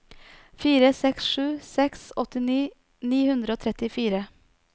fire seks sju seks åtti ni hundre og trettifire